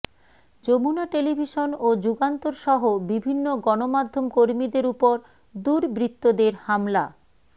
Jamuna television ও যুগান্তরসহ বিভিন্ন গণমাধ্যমকর্মীদের ওপর দুর্বৃত্তদের হামলা